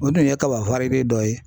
O dun ye kaba dɔ ye.